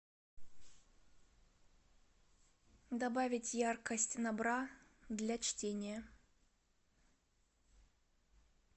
добавить яркость на бра для чтения